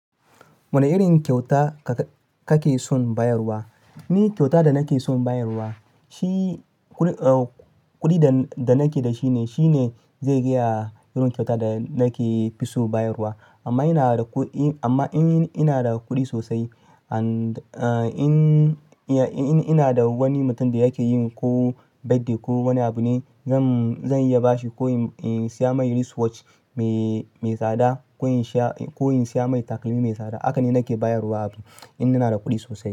Wane irin kyauta kake son bayarwa? Ni kyauta da nake son bayarwa, kuɗi da nake da shi ne zai gaya irin kyauta da nake fi son bayarwa. Amma in na da kuɗi sosai, in na da wani mutum da yake yin ko birthday ko wani abu ne, zan iya ba shi ko in siya mai wristwatch mai tsada ko in siya mai takalmi mai tsada. Haka ne nake bayarwa abu in na da kuɗi sosai.